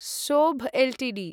सोभ एल्टीडी